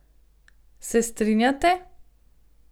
Se strinjate?